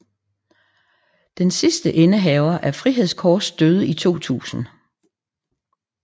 Den sidste indehaver af Frihedskors døde i 2000